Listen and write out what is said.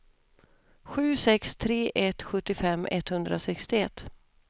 sju sex tre ett sjuttiofem etthundrasextioett